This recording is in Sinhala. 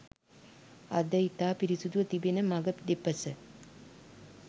අද ඉතා පිරිසිදුව තිබෙන මග දෙපස